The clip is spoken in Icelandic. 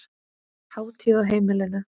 Hátíð á heimilinu